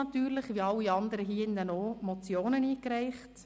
Wie alle hier hast auch du Motionen eingereicht.